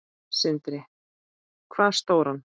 Sindri: Hvað stóran?